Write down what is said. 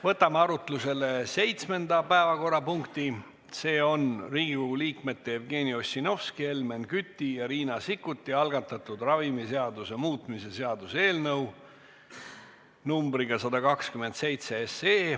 Võtame arutlusele seitsmenda päevakorrapunkti, see on Riigikogu liikmete Jevgeni Ossinovski, Helmen Küti ja Riina Sikkuti algatatud ravimiseaduse muutmise seaduse eelnõu numbriga 127.